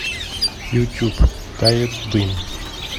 ютюб тает дым